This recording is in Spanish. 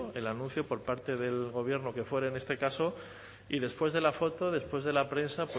el anuncio por parte del gobierno que fuere en este caso y después de la foto después de la prensa